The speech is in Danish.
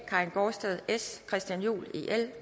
karin gaardsted christian juhl